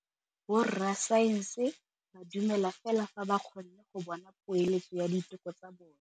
Borra saense ba dumela fela fa ba kgonne go bona poeletsô ya diteko tsa bone.